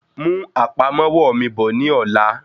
Mú àpamọ́wọ́ mi bọ̀ ní ọ̀la.